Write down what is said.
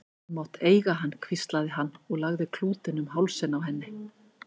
Þú mátt eiga hann hvíslaði hann og lagði klútinn um hálsinn á henni.